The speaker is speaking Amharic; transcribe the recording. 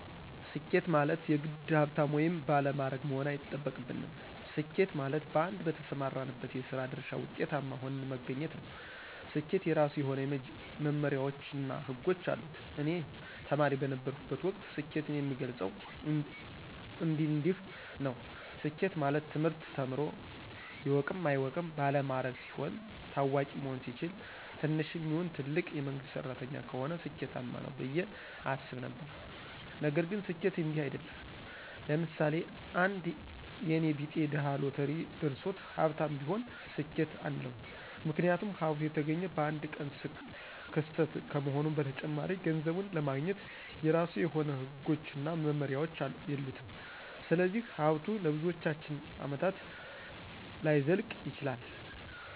ስኬት ማለት የግድ ሀብታም ወይም ባለማዕረግ መሆን አይጠበቅብንም። ስኬት ማለት በአንድ በተሰማራንበት የስራ ድርሻ ውጤታማ ሁነን መገኘት ነው። ስኬት የራሱ የሆነ መመመሪያዎች እና ህጎች አሉት። እኔ ተማሪ በነበረሁበት ወቅት ስኬትን የምገልፀው እንዲንዲህ ነው። ስኬት ማለት ትምህርት ተምሮ ይወቅም አይወቅም ባለማዕረግ ሲሆን፣ ታዋቂ መሆን ሲችል፣ ትንሽም ይሁን ትልቅ የመንግስት ሰራተኛ ከሆነ ስኬማነው ብየ አስብ ነበረ። ነገር ግን ስኬት እንዲህ አይድለም። ለምሳሌ፦ አንድ የኔ ቢጤ ድሀ ሎተሪ ደርሶት ሀብታም ቢሆን ስኬት አንለውም ምክንያቱም ሀብቱ የተገኘ በአንድ ቀን ክስተት ከመሆኑም በተጨማሪ ገንዘቡን ለማግኘት የራሱ የሆነ ህጎችና መመሪያዎች የሉትም ስለዚህ ሀብቱ ለብዙዎቻችን አመታት ላይዘልቅ ይችላል።